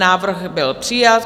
Návrh byl přijat.